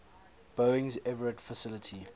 boeing's everett facility